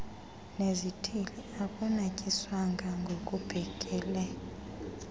nezithili akunatyiswanga ngokubhekele